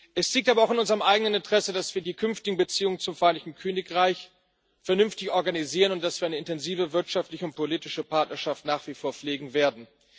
Es liegt aber auch in unserem eigenen Interesse, dass wir die künftigen Beziehungen zum Vereinigten Königreich vernünftig organisieren und dass wir nach wie vor eine intensive wirtschaftliche und politische Partnerschaft pflegen werden.